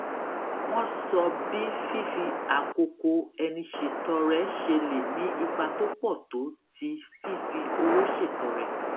wón sọ bí fífi àkókò ẹni ṣètọrẹ ṣe lè ní ipa tó pò tó ti fífi owó ṣètọrẹ